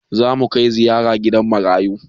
Zamu kai ziyara gidan marayu